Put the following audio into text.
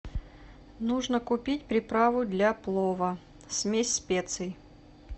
нужно купить приправу для плова смесь специй